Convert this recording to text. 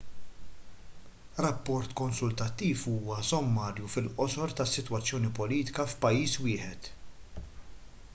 rapport konsultattiv huwa sommarju fil-qosor tas-sitwazzjoni politika f'pajjiż wieħed